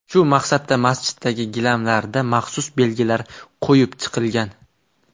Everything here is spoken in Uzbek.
Shu maqsadda masjiddagi gilamlarda maxsus belgilar qo‘yib chiqilgan.